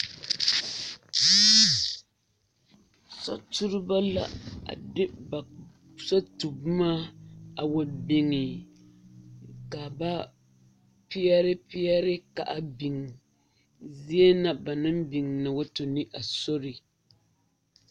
Soturibo la a de ba sotuboma a wa biŋe ka ba peɛre peɛre ka a biŋ zie na ba naŋ biŋ na wa tu ne a sori.